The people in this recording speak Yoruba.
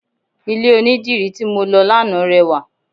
Ilẹ̀ onidírì tí mọ lọ lánàá rẹwà.